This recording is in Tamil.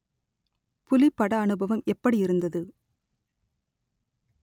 புலிப் பட அனுபவம் எப்படியிருந்தது